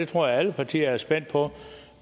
tror alle partier er spændt på